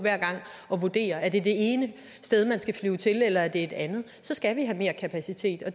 og vurdere om det er det ene sted man skal flyve til eller om det er det andet skal vi have mere kapacitet og